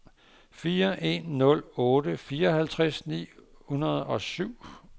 fire en nul otte fireoghalvtreds ni hundrede og syv